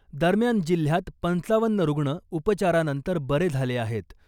दरम्यान , जिल्ह्यात पंचावन्न रुग्ण उपचारानंतर बरे झाले आहेत .